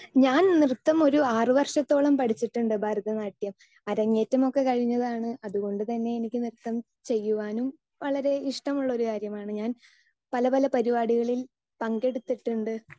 Speaker 2 ഞാൻ നൃത്തം ഒരു ആറുവർഷത്തോളം പഠിച്ചിട്ടുണ്ട്, ഭരതനാട്യം. അരങ്ങേറ്റം ഒക്കെ കഴിഞ്ഞതാണ് അതുകൊണ്ടുതന്നെ എനിക്ക് നൃത്തം ചെയ്യുവാനും വളരെ ഇഷ്ടമുള്ള ഒരു കാര്യമാണ് ഞാൻ പല പല പരിപാടികളിൽ പങ്കെടുത്തിട്ടുണ്ട്,